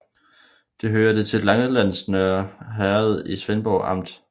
Det hørte til Langelands Nørre Herred i Svendborg Amt